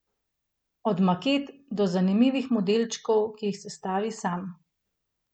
Od maket do zanimivih modelčkov, ki jih sestavi sam.